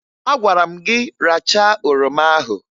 Agwara m gị rachaa oroma ahụ!